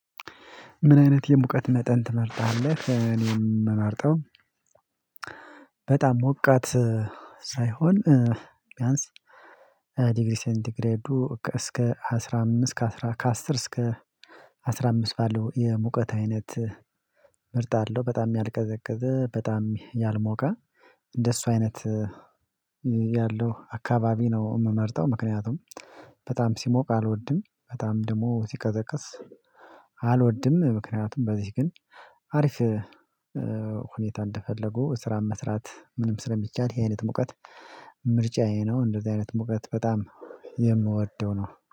ምን አይነት የሙቀት መጠን ትመርጣለህ? እኔም አምርጠው በጣም ሞቃት ሳይሆን ቢያንስ ዲግሪ ሴንት ግሬዱ እስከ አስራ አምስት ከአስራ ከአስር እስከ አስራ አምስት ባለው የሙቀት አይነት ምርጥ አለው በጣም ያልቀዘቀዘ በጣም ያልሞቀ እንደሱ አይነት ያለው አካባቢ ነው የምመርጠው። ምክንያቱም በጣም ሲሞቅ አልወድም በጣም ደግሞ ሲቀዘቅስ አልወድም። ምክንያቱም በዚህ ግን አሪፍ ሁኔታ እንደፈለጉ ስራን መስራት ምንም ስለሚቻል ይሄ አይነት መውቀት ምርጫዬ ነው። እንደዚህ አይነት መውቀት በጣም የምወደው ነው